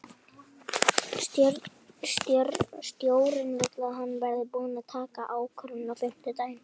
Stjórnin vill að hann verði búinn að taka ákvörðun á fimmtudaginn.